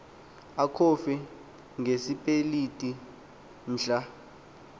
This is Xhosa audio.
acofe ngesipeliti mhla